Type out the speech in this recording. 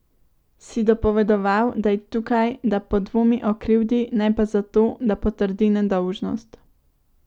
Si dopovedoval, da je tukaj, da podvomi o krivdi, ne pa zato, da potrdi nedolžnost.